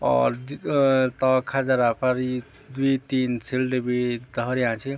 और अ तौल खदेरा फर द्वि तीन सील्ड भी धौर्याँ छी।